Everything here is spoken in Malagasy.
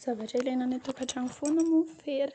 Zavatra ilaina any an-tokantrano foana moa fera ;